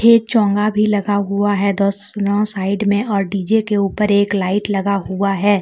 ये चोगा भी लगा हुआ है दोस्त नो साइड में और डी जे के ऊपर एक लाइट लगा हुआ है।